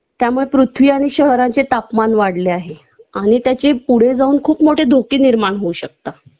त्यामुळे पृथ्वी आणि शहराचे तापमान वाढले आहे आणि त्याचे पुढे जाऊन खूप मोठे धोके निर्माण होऊ शकतात